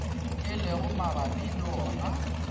e lego mabapi le wona